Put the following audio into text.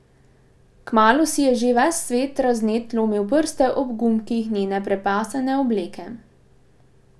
Kmalu si je že ves razvnet lomil prste ob gumbkih njene prepasane obleke.